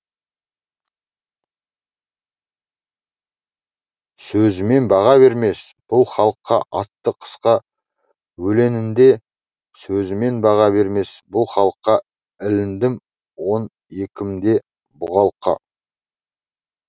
сөзімен баға бермес бұл халыққа атты қысқа өлеңінде сөзімен баға бермес бұл халыққа іліндім он екімде бұғалыққа